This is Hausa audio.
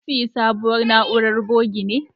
Kun siyi sabuwar na'urar buge ne?